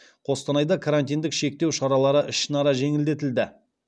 қостанайда карантиндік шектеу шаралары ішінара жеңілдетілді